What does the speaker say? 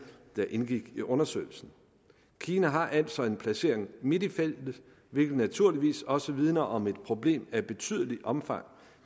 der indgik i undersøgelsen kina har altså en placering midt i feltet hvilket naturligvis også vidner om et problem af et betydeligt omfang